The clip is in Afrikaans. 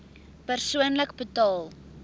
persoonlik betaal